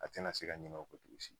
A tɛna se ka ɲina o ko togosi